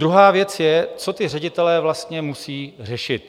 Druhá věc je, co ti ředitelé vlastně musejí řešit.